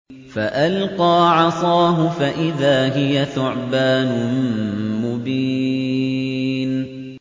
فَأَلْقَىٰ عَصَاهُ فَإِذَا هِيَ ثُعْبَانٌ مُّبِينٌ